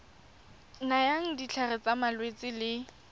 nayang ditlhare tsa malwetse le